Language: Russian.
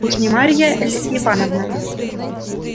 уж не марья ль ивановна